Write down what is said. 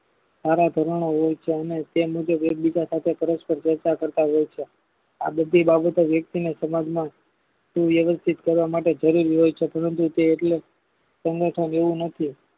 સારા ધોરણો હોય છે અને તે મુજબ એક બીજા સાથે પરસ્પર ચેસ્ટા કરતા હોય છે આ બધી બાબતો વ્યક્તિને સમાજ માં શુવ્યવશ્થિત કરવા માટે જરૂર હોય છે પરંતુ તે એટલે સંગઠન એવું નથી.